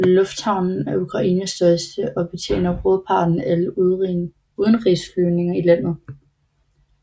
Lufthavnen er Ukraines største og betjener hovedparten af alle udenrigsflyvning i landet